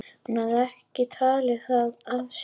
Hún hafði ekki tekið það af sér.